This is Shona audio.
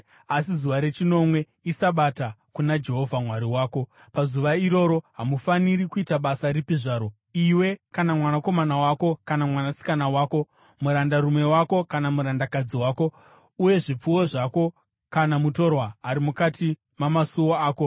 asi zuva rechinomwe iSabata kuna Jehovha Mwari wako. Pazuva iroro hamufaniri kuita basa ripi zvaro, iwe kana mwanakomana wako, kana mwanasikana wako, murandarume wako kana murandakadzi wako, uye zvipfuwo zvako kana mutorwa ari mukati mamasuo ako.